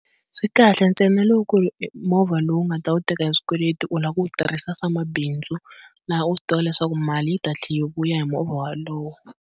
Swi kahle ntsena loko ku ri movha lowu u nga ta wu teka hi swikweleti u lava ku wu tirhisa swa mabindzu laha u swi tivaka leswaku mali yi ta tlhela yi vuya hi movha wolowo.